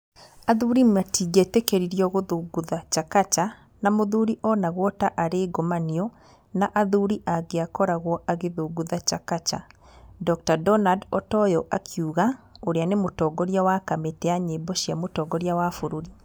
"Athuri matingĩetĩkĩrirwo gũthũngũtha Chakacha na mũthuri onagwa ta arĩ ngomanio na athuri angĩakoragwo akĩthũngũtha Chakacha, "Dr Donald Otoyo akiuga ũrĩa nĩ mũtongoria wa kamĩtĩ ya nyĩmbo cia mũtongoria wa bũrũri.